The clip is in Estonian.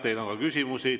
Teile on ka küsimusi.